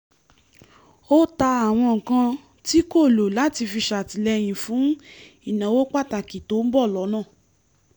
ó ta àwọn nǹkan tí kò lò láti fi ṣàtìlẹyìn fún ìnáwó pàtàkì tó ń bọ̀ lọ́nà